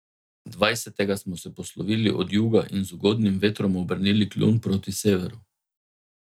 Dvajsetega smo se poslovili od juga in z ugodnim vetrom obrnili kljun proti severu.